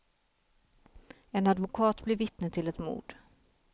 En advokat blir vittne till ett mord.